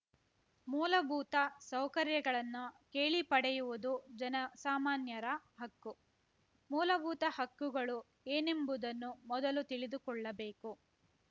ಮೂಲಭೂತ ಸೌಕರ್ಯಗಳನ್ನು ಕೇಳಿ ಪಡೆಯುವುದು ಜನಸಾಮಾನ್ಯರ ಹಕ್ಕು ಮೂಲಭೂತ ಹಕ್ಕುಗಳು ಏನೆಂಬುದನ್ನು ಮೊದಲು ತಿಳಿದುಕೊಳ್ಳಬೇಕು